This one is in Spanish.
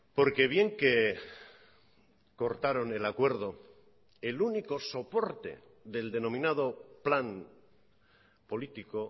porque bien que cortaron el acuerdo el único soporte del denominado plan político